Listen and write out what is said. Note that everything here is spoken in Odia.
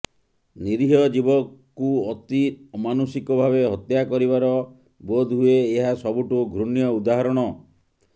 ନୀରିହ ଜୀବକୁ ଅତି ଅମାନୁଷିକ ଭାବେ ହତ୍ୟା କରିବାର ବୋଧ ହୁଏ ଏହା ସବୁଠୁ ଘୃଣ୍ୟ ଉଦାହରଣ